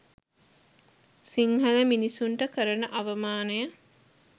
සිංහල මිනිසුන්ට කරන අවමානය